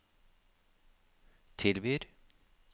tilbyr